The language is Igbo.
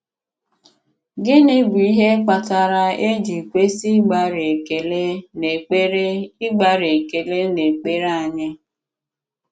Gịnị bụ̀ ihe kpatara e ji kwesị ịgbàrị́ ekele n’èkpere ịgbàrị́ ekele n’èkpere anyị?